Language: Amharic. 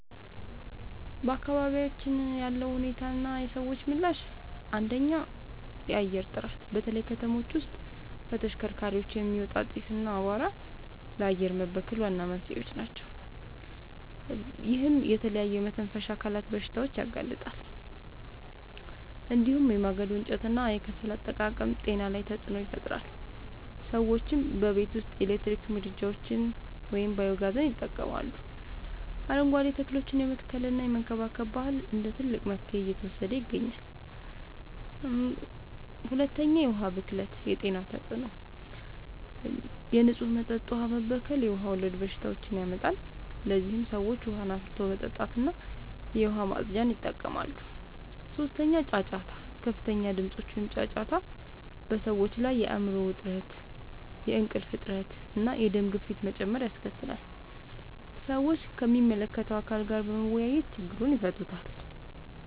በአካባቢያችን ያለው ሁኔታና የሰዎች ምላሽ፦ 1. የአየር ጥራት፦ በተለይ ከተሞች ውስጥ ከተሽከርካሪዎች የሚወጣ ጢስ እና አቧራ ለአየር መበከል ዋና መንስኤዎች ናቸው። ይህም ለተለያዩ የመተንፈሻ አካላት በሽታዎች ያጋልጣል። እንዲሁም የማገዶ እንጨትና የከሰል አጠቃቀም ጤና ላይ ተጽዕኖ ይፈጥራል። ሰዎችም በቤት ውስጥ የኤሌክትሪክ ምድጃዎችን ወይም ባዮ-ጋዝ ይጠቀማሉ፣ አረንጓዴ ተክሎችን የመትከልና የመንከባከብ ባህል እንደ ትልቅ መፍትሄ እየተወሰደ ይገኛል። 2. የዉሀ ብክለት የጤና ተጽዕኖ፦ የንጹህ መጠጥ ውሃ መበከል የውሃ ወለድ በሽታዎችን ያመጣል። ለዚህም ሰዎች ውሃን አፍልቶ መጠጣትና የዉሃ ማፅጃን ይጠቀማሉ። 3. ጫጫታ፦ ከፍተኛ ድምጾች (ጫጫታ) በሰዎች ላይ የአይምሮ ዉጥረት፣ የእንቅልፍ እጥረት፣ እና የደም ግፊት መጨመር ያስከትላል። ሰዎችም ከሚመለከተዉ አካል ጋር በመወያየት ችግሩን ይፈታሉ።